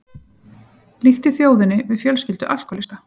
Líkti þjóðinni við fjölskyldu alkóhólista